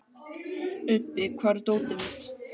Ubbi, hvar er dótið mitt?